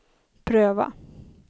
pröva